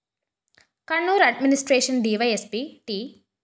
Kannur‍ administration DYSP T